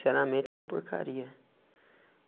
Sinceramente uma porcaria.